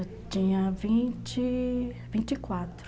Eu tinha vinte, vinte e quatro.